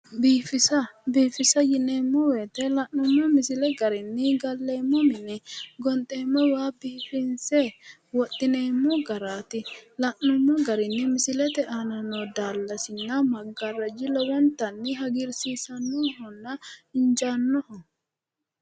biifisa biifisa yineemmo wote la'nummo misile garinni gallemmowa mine gonxeemmowa biifinse wodhineemmo garaati la'numo garinni misilete aana noo daallasina maggaarraji lowontanni hagiirsiisannohonna injaannoho.